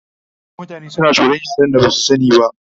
A da mutane na tsoran yaren da Basu sani ba